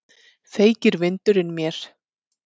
Feykir vindurinn mér.